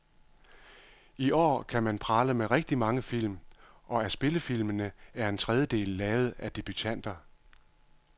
I år kan man prale med rigtig mange film, og af spillefilmene er en trediedel lavet af debutanter.